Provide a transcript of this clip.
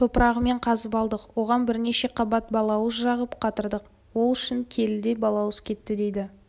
топырағымен қазып алдық оған бірнеше қабат балауыз жағып қатырдық ол үшін келідей балауыз кетті дейді